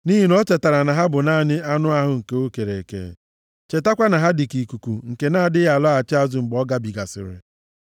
Nʼihi na o chetara na ha bụ naanị anụ ahụ nke o kere eke, chetakwa na ha dịka ikuku nke na-adịghị alọghachi azụ mgbe ọ gabigasịrị.